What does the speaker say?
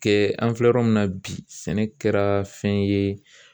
Kɛ an filɛ yɔrɔ min na bi sɛnɛ kɛra fɛn ye